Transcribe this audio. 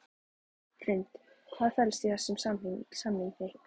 Hrund: Hvað felst í þessum samningi?